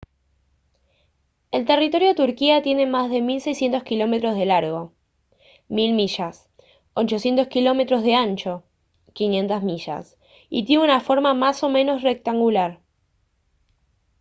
el territorio de turquía tiene más de 1600 kilómetros de largo 1000 mi 800 km de ancho 500 mi y tiene una forma más o menos rectangular